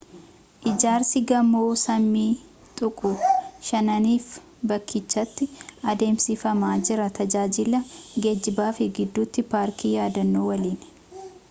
ijaarsii gamoo samii tuquu shananiif bakkichatti adeemsifamaa jira tajaajila geejiiba fi gidduuti paarkii yaadannoo waliin